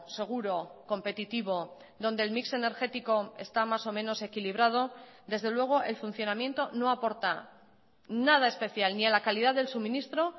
seguro competitivo donde el mix energético está más o menos equilibrado desde luego el funcionamiento no aporta nada especial ni a la calidad del suministro